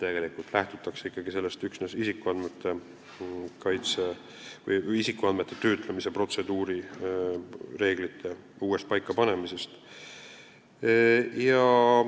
Tegelikult lähtutakse ikkagi üksnes isikuandmete kaitse või isikuandmete töötlemise protseduurireeglite uuesti paikapanemisest.